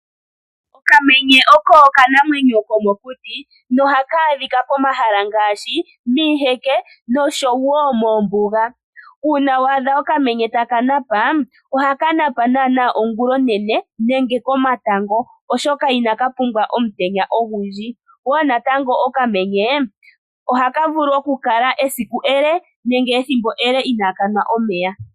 Okamenye oko okanamwenyo komokuti nohaka adhika pomahala ngaashi miiheke noshowo moombuga . Uuna waadha okamenye takanapa , ohakanapa nana ongula onene nenge komatango oshoka ina kapumbwa omutenya ogundji wo natango okamenye ohakavulu okukala esiku ele nenge ethimbo ele inaakamwa omeya.